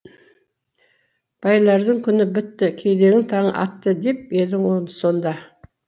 байлардың күні бітті кедейдің таңы атты деп едің сонда